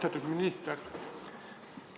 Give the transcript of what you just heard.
Austatud minister!